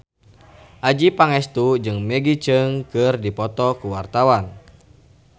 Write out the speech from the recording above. Adjie Pangestu jeung Maggie Cheung keur dipoto ku wartawan